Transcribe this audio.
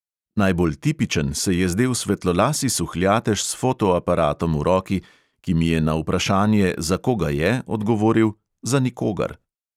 Najbolj tipičen se je zdel svetlolasi suhljatež s fotoaparatom v roki, ki mi je na vprašanje, za koga je, odgovoril: "za nikogar."